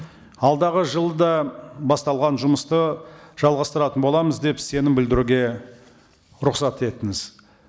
алдағы жылда басталған жұмысты жалғастыратын боламыз деп сенім білдіруге рұқсат етіңіз